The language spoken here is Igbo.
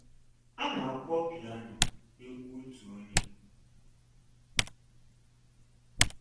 A na-akpọ piano egwu otu onye.